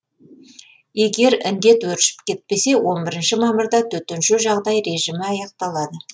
егер індет өршіп кетпесе он бірінші мамырда төтенше жағдай режімі аяқталады